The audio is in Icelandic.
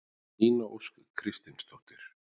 Nína Ósk Kristinsdóttir